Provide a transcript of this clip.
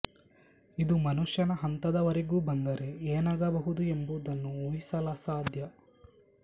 ಇದು ಮನುಷ್ಯನ ಹಂತದ ವರೆಗೂ ಬಂದರೆ ಏನಾಗಬಹುದು ಎಂಬುದನ್ನು ಊಹಿಸಲಸಾಧ್ಯ